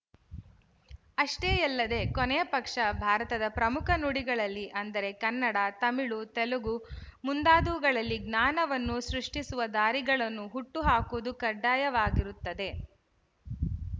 ಅಷ್ಟೇ ಯಲ್ಲದೆ ಕೊನೆಯಪಕ್ಷ ಭಾರತದ ಪ್ರಮುಖ ನುಡಿಗಳಲ್ಲಿ ಅಂದರೆ ಕನ್ನಡ ತಮಿಳು ತೆಲುಗು ಮುಂತಾದವುಗಳಲ್ಲಿ ಜ್ಞಾನವನ್ನು ಸೃಷ್ಟಿಸುವ ದಾರಿಗಳನ್ನು ಹುಟ್ಟು ಹಾಕುವುದು ಕಡ್ಡಾಯವಾಗಿರುತ್ತದೆ